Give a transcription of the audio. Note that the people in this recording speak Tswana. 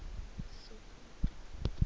sokutu